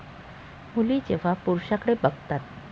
मुली जेव्हा पुरूषांकडे बघतात.